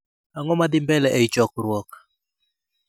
Ang'o madhi mbele ei chokruok